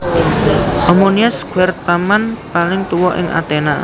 Omonia Square taman paling tuwa ing Aténa